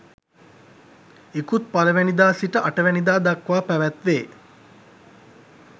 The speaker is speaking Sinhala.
ඉකුත් 01 වැනි දා සිට 08 වැනි දා දක්වා පැවැත්වේ.